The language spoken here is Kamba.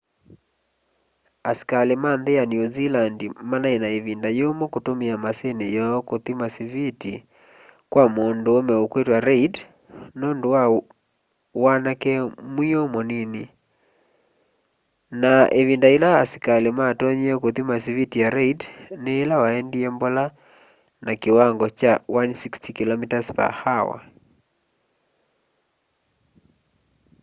asikali ma nthi ya new zealand manai na ivinda yumu kutumia maasini yoo ya kuthima siviti kwa munduume ukwitwa reid nundu wa wanake mwiu munini na ivinda ila asikali matonyie kuthima siviti ya reid ni ila waendie mbola na kiwango kya 160km/h